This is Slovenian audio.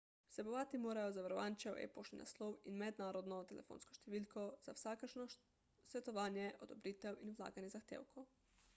vsebovati morajo zavarovančev e-poštni naslov in mednarodno telefonsko številko za vsakršno svetovanje/odobritev in vlaganje zahtevkov